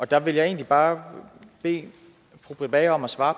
der vil jeg egentlig bare bede fru britt bager om at svare